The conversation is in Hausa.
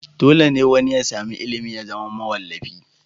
Dole ne wani ya sami ilimi ya zama mawallafi?